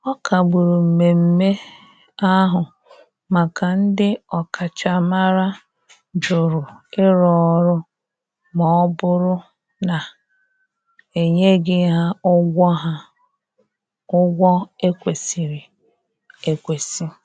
Ọ kagburu mmeme ahu maka ndi okachamara jụrụ ịrụ ọrụ ma ọbụrụ na enyeghi ha ụgwọ ha ụgwọ ekwesiri ekwesi.